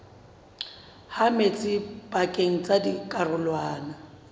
ha metsi pakeng tsa dikarolwana